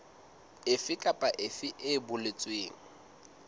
efe kapa efe e boletsweng